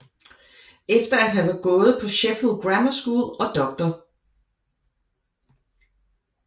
Efter at have gået på Sheffield Grammar School og Dr